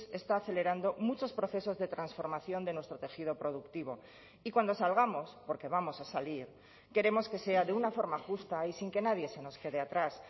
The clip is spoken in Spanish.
está acelerando muchos procesos de transformación de nuestro tejido productivo y cuando salgamos porque vamos a salir queremos que sea de una forma justa y sin que nadie se nos quede atrás